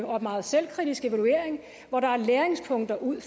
og meget selvkritisk evaluering og der er læringspunkter ud